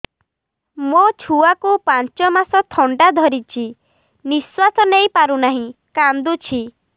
ମୋ ଛୁଆକୁ ପାଞ୍ଚ ମାସ ଥଣ୍ଡା ଧରିଛି ନିଶ୍ୱାସ ନେଇ ପାରୁ ନାହିଁ କାଂଦୁଛି